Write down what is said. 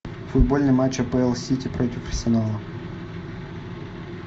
футбольный матч апл сити против арсенала